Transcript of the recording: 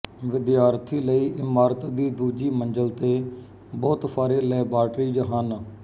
ਵਿਦਿਆਰਥੀ ਲਈ ਇਮਾਰਤ ਦੀ ਦੂਜੀ ਮੰਜ਼ਲ ਤੇ ਬਹੁਤ ਸਾਰੇ ਲੈਬਾਰਟਰੀਜ਼ ਹਨ